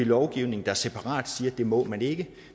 lovgivning der separat siger at det må man ikke